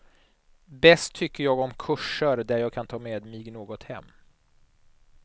Bäst tycker jag om kurser där jag kan ta med mig något hem.